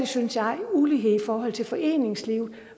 synes jeg ulighed i forhold til foreningslivet